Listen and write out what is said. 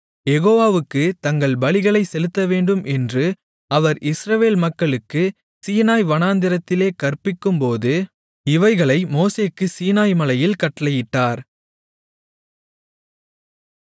யெகோவாவுக்குத் தங்கள் பலிகளைச் செலுத்தவேண்டும் என்று அவர் இஸ்ரவேல் மக்களுக்குச் சீனாய் வனாந்திரத்திலே கற்பிக்கும்போது இவைகளை மோசேக்குச் சீனாய்மலையில் கட்டளையிட்டார்